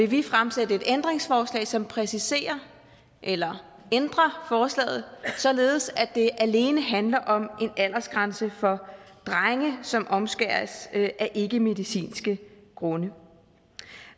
vi fremsætte et ændringsforslag som præciserer eller ændrer forslaget således at det alene handler om en aldersgrænse for drenge som omskæres af ikkemedicinske grunde